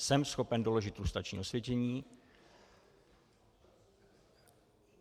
Jsem schopen doložit lustrační osvědčení.